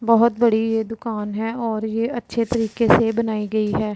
बहोत बड़ी ये दुकान है और ये अच्छे तरीके से बनाई गई है।